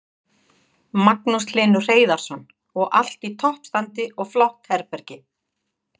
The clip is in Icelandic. Magnús Hlynur Hreiðarsson: Og allt í toppstandi og flott herbergi?